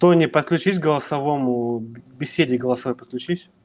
тони подключись голосовому беседе голосовой подключись